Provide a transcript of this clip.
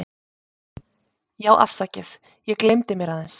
Já afsakið, ég gelymdi mér aðeins.